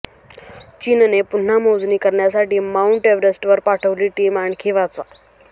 चीनने पुन्हा मोजणी करण्यासाठी माउंट एव्हरेस्टवर पाठवली टीम आणखी वाचा